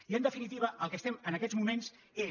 i en definitiva el que estem en aquests moments és